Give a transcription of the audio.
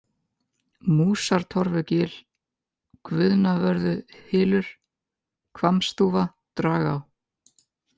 Músartorfugil, Guðnavörðuhylur, Hvammsþúfa, Dragá